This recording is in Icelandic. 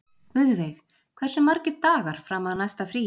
Guðveig, hversu margir dagar fram að næsta fríi?